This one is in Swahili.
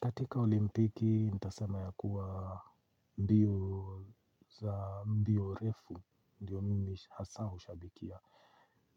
Katika olimpiki, nitasema ya kuwa mbio refu, ndio mimi hasa hushabikia.